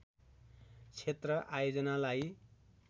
क्षेत्र आयोजनालाई